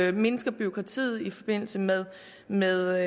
vi mindsker bureaukratiet i forbindelse med med